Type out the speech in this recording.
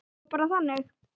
Og það var bara þannig.